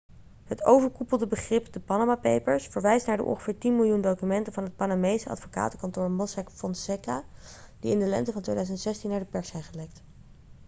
het overkoepelde begrip de panama papers' verwijst naar de ongeveer tien miljoen documenten van het panamese advocatenkantoor mossack fonseca die in de lente van 2016 naar de pers zijn gelekt